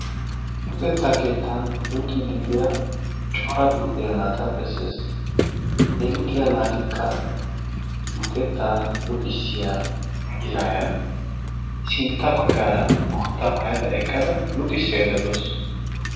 luxettaa keettan luuxiidi diyaa cora luxiyaa naata bessees. he luuxiyaa naatikka luxettaa luxissiyaa izaayya sintta baggaara boottaa maayada luuxissaydda daawus.